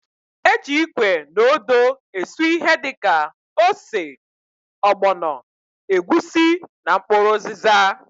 E ji ikwe na odo esu ihe dịka: ose, ọgbọnọ, egwusi na mkpụrụ ụzịza.